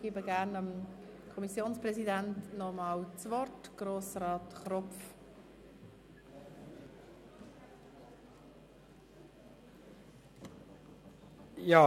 Ich gebe das Wort gerne noch einmal dem Kommissionspräsidenten, Grossrat Kropf.